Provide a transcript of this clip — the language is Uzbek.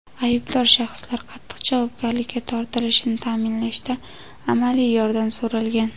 aybdor shaxslar qattiq javobgarlikka tortilishini ta’minlashda amaliy yordam so‘ralgan.